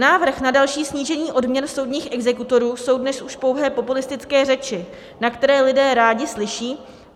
Návrh na další snížení odměn soudních exekutorů jsou dnes už pouhé populistické řeči, na které lidé rádi slyší.